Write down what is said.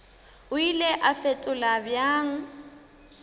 o ile a fetola bjang